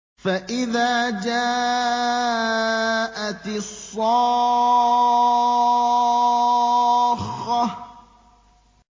فَإِذَا جَاءَتِ الصَّاخَّةُ